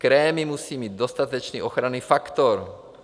Krémy musí mít dostatečný ochranný faktor.